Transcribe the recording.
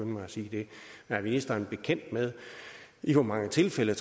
mig at sige det er ministeren bekendt med i hvor mange tilfælde